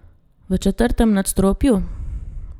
V četrtem nadstropju?